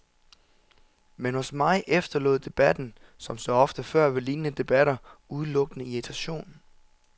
Men hos mig efterlod debatten, som så ofte før ved lignende debatter, udelukkende irritation.